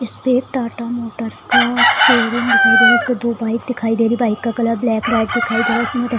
इसपे टाटा मोटर्स का शोरूम दिखाई दे रहा है उसपे दो बाइक दिखाई दे रही है बाइक का कलर ब्लैक रेड दिखाई दे रहा है इसमें --